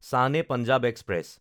Shan-e-Punjab express